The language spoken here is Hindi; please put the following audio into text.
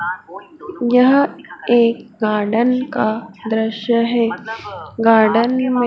यह एक गार्डन का दृश्य है गार्डन में--